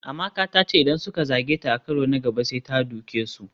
Amaka ta ce idan suka zage ta a karo na gaba sai ta doke su.